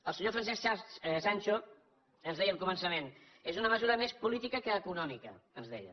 el senyor francesc sancho ens deia al començament és una mesura més política que econòmica ens deia